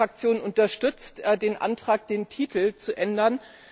Meine Fraktion unterstützt den Antrag, den Titel zu ändern.